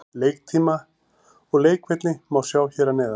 Leiktíma og leikvelli má sjá hér að neðan.